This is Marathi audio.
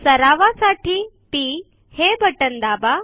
सरावासाठी पी हे बटन दाबा